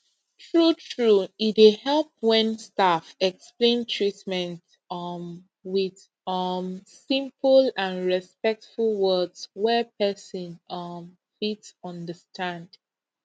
truetrue e dey help when staff explain treatment um with um simple and respectful words wey person um fit understand